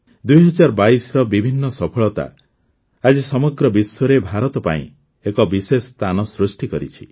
୨୦୨୨ର ବିଭିନ୍ନ ସଫଳତା ଆଜି ସମଗ୍ର ବିଶ୍ୱରେ ଭାରତ ପାଇଁ ଏକ ବିଶେଷ ସ୍ଥାନ ସୃଷ୍ଟି କରିଛି